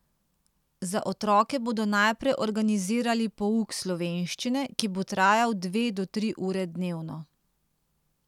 Za otroke bodo najprej organizirali pouk slovenščine, ki bo trajal dve do tri ure dnevno.